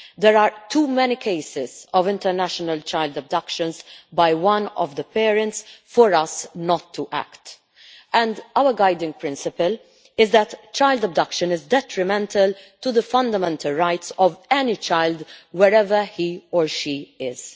There are too many cases of international child abduction by one of the parents for us not to act, and our guiding principle is that child abduction is detrimental to the fundamental rights of any child, wherever he or she is.